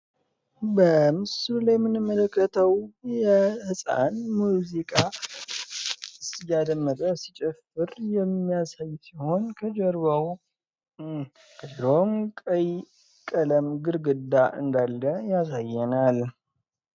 በምስሉ ላይ የምንመለከተው ጻኑ ሙዚቃ ደመጠ ሲጨፍር የሚያሳይ ሲሆን ከጀርባውም ቀይ ቀለም ግርግዳ እንዳለ ያሳየናል።